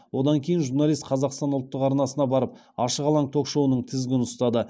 одан кейін журналист қазақстан ұлттық арнасына барып ашық алаң ток шоуының тізгінін ұстады